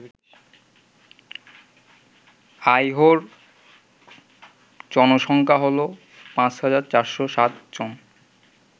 আইহোর জনসংখ্যা হল ৫৪০৭ জন